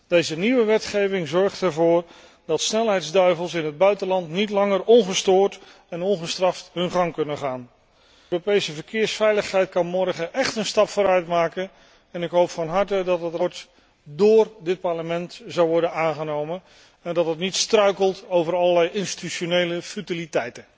Deze nieuwe wetgeving zorgt ervoor dat snelheidsduivels in het buitenland niet langer ongestoord en ongestraft hun gang kunnen gaan. De Europese verkeersveiligheid kan morgen echt een stap vooruit zetten. Ik hoop van harte dat het verslag door dit Parlement zal worden aangenomen en dat het niet struikelt over allerlei institutionele futiliteiten.